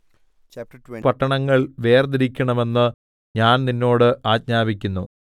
അതുകൊണ്ട് മൂന്ന് പട്ടണങ്ങൾ വേർതിരിക്കണമെന്ന് ഞാൻ നിന്നോട് ആജ്ഞാപിക്കുന്നു